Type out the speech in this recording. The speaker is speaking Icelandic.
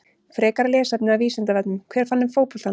Frekara lesefni af Vísindavefnum: Hver fann upp fótboltann?